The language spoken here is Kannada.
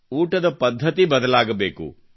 ಊಟದ ಪದ್ಧತಿ ಬದಲಾಗಬೇಕು